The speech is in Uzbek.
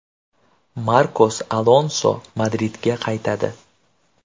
Markos Alonso Madridga qaytadi.